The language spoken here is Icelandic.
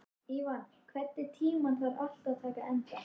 Ívan, einhvern tímann þarf allt að taka enda.